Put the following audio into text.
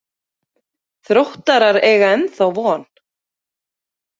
Þróttarar eiga ennþá von.